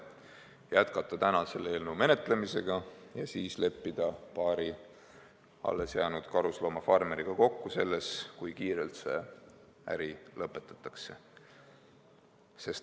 Jätkakem selle eelnõu menetlemist ja leppigem paari alles jäänud karusloomafarmeriga kokku, kui kiirelt see äri lõpetatakse.